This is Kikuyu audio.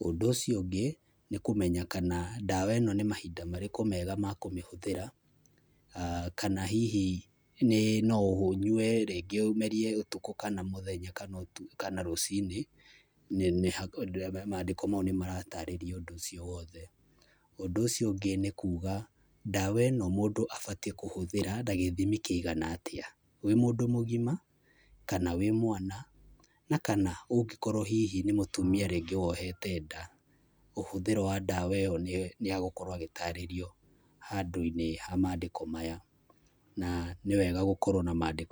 Ũndũ ũcio ũngĩ, nĩ kũmenya kana ndawa ĩno nĩ mahinda marĩkũ mega makũmĩhũthĩra, kana hihi nĩ no ũnyue rĩngĩ ũmerie ũtukũ kana mũthenya kana ũtukũ kana rũcinĩ, mandĩko mau nĩmaratarĩria ũndũ ũcio wothe. Ũndũ ũcio ũngĩ, nĩ kuga ndawa ĩno mũndũ abatiĩ kũhũthĩra na gĩthimi kĩigana atĩa. Wĩ mũndũ mũgima, kana wĩ mwana, na kana ũngĩkorwo hihi nĩ mũtumia rĩngĩ wohete nda, ũhũthĩro wa ndawa ĩyo nĩegũkorwo agĩtarĩrio handũ-inĩ ha mandĩko maya. Na, nĩ wega gũkorwo na mandĩko.